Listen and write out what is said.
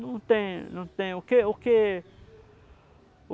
Não tem, não tem o que o que